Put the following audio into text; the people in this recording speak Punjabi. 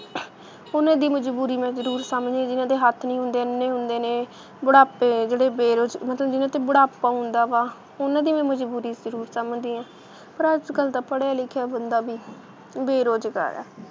ਉਹਨਾਂ ਦੀ ਮਜ਼ਬੂਰੀ ਮੈ ਜਰੂਰ ਸਮਝਦੀ ਹਾਂ, ਜਿੰਨ੍ਹਾ ਦੇ ਹੱਥ ਨਹੀਂ ਹੁੰਦੇ, ਅੰਨੇ ਹੁੰਦੇ ਨੇ, ਬੁਢਾਪੇ, ਜਿਹੜੇ ਬੇਰੁਜ਼~ ਮਤਲਬ ਜਿੰਨ੍ਹਾ 'ਤੇ ਬੁਢਾਪਾ ਹੁੰਦਾ ਵਾ ਉਹਨਾਂ ਦੀ ਮੈ ਮਜ਼ਬੂਰੀ ਜਰੂਰ ਸਮਝਦੀ ਆ ਪਰ ਅੱਜ ਕੱਲ ਤਾਂ ਪੜ੍ਹਿਆ ਲਿਖਿਆ ਬੰਦਾ ਵੀ ਬੇਰੁਜ਼ਗਾਰ ਆ,